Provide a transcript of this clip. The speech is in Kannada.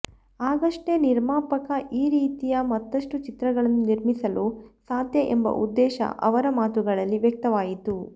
ಆಗಷ್ಟೇ ನಿರ್ಮಾಪಕ ಈ ರೀತಿಯ ಮತ್ತಷ್ಟು ಚಿತ್ರಗಳನ್ನು ನಿರ್ಮಿಸಲು ಸಾಧ್ಯ ಎಂಬ ಉದ್ದೇಶ ಅವರ ಮಾತುಗಳಲ್ಲಿ ವ್ಯಕ್ತವಾಯಿತು